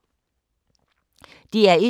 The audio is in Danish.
DR1